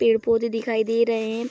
पेड़-पौधे दिखाई दे रहे हैं।